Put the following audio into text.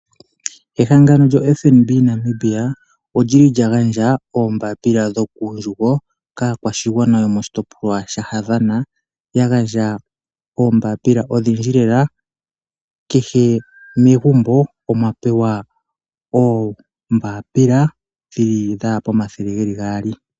Ehangano lyo FNB Namibia, odjili lya gandja oombaapila dho kuundjugo kaakwashigwana yomoshitoplwa sha Havana, ya gandja oombaapila odhindji lela, kehe megumbo omwa pewa oombaapila dhi li dha ya pomathele geli gaali.